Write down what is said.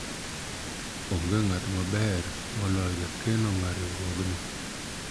onge ng'at maber moloyo jakeno mar riwruogni